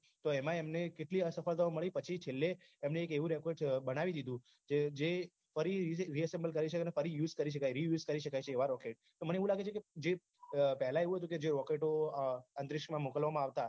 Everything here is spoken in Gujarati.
તો એમાં એમને કેટલી અસફળતા મળી પછી છેલ્લે એને એવું એક rocket બનાવી દીધું જેને reassemble ફરી use કરી શકાય reuse કરી શકાય છે એવા rocket તો મને એવું લાગે છે કે જે પહલા એવું હતું કે જે rocket ઓ અંતરીક્ષમાં મોકલવામાં આવતા